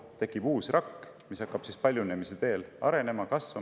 Tekib uus rakk, mis hakkab paljunemise teel arenema ja kasvama.